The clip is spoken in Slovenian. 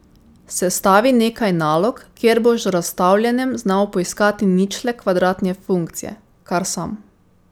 Sestavi nekaj nalog, kjer boš z razstavljanjem znal poiskati ničle kvadratne funkcije, kar sam.